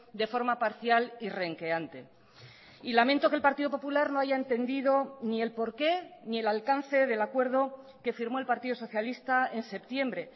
de forma parcial y renqueante y lamento que el partido popular no haya entendido ni el por qué ni el alcance del acuerdo que firmó el partido socialista en septiembre